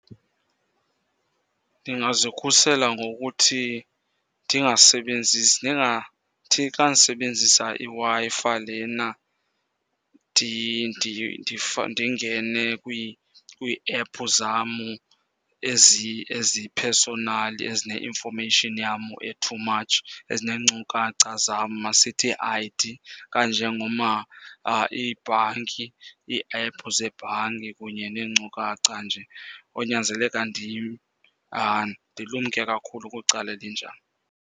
Ndingazikhusela ngokuthi ndingasebenzisi, ndingathi xa ndisebenzisa iWi-Fi lena ndingene kwii-app zamu eziphesonali, ezine-information yam e-too much, ezineenkukacha zam, masithi ii-I_D, kanje iibhanki, ii-app zebhanki kunye neenkcukacha nje. Konyanzeleka ndilumke kakhulu kwicala elinjalo.